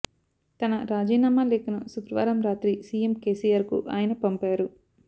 తన రాజీనామా లేఖను శుక్రవారంరాత్రి సీఎం కేసీఆర్ కు ఆయన పంపారు